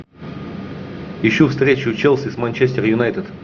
ищу встречу челси с манчестер юнайтед